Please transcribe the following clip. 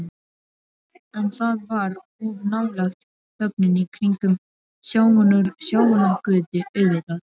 En það var of nálægt þögninni kringum Sjafnargötu, auðvitað.